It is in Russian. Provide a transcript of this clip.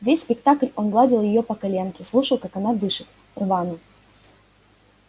весь спектакль он гладил её по коленке слушал как она дышит рвано